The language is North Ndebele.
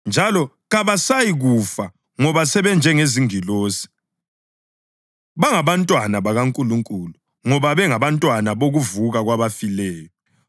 njalo kabasayikufa ngoba sebenjengezingilosi. Bangabantwana bakaNkulunkulu, ngoba bengabantwana bokuvuka kwabafileyo.